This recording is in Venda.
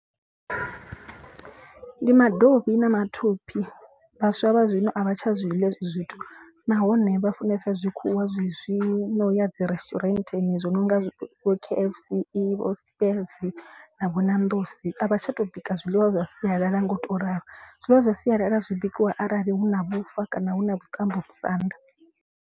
Ndi madovhi na mathophi vhaswa vha zwino a vha tsha zwi ḽa hezwi zwithu nahone vha funesa zwa zwikhuwa zwi zwino ya dzi resiturentini zwi no nga zwithu vho K_F_C vho Steers na vho Nando's. A vha tsha tou bika zwiḽiwa zwa sialala nga u to ralo. Zwiḽiwa zwa sialala zwi bikiwa arali hu na vhufa kana hu na vhuṱambo musanda.